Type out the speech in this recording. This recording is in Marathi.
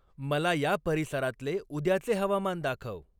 मला या परिसरातले उद्याचे हवामान दाखव.